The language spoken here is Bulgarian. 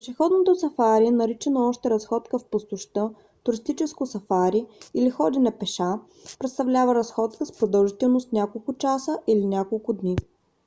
пешеходното сафари наричано още разходка в пустошта туристическо сафари или ходене пеша представлява разходка с продължителност няколко часа или няколко дни